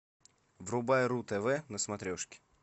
врубай ру тв на смотрешке